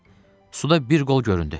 Suda bir qol göründü.